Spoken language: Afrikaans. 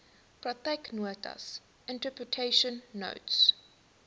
praktyknotas interpretation notes